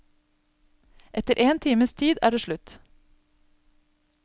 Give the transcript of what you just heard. Etter en times tid er det slutt.